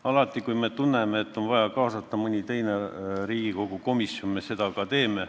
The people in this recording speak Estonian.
Alati, kui me tunneme, et on vaja kaasata mõni teine Riigikogu komisjon, me seda ka teeme.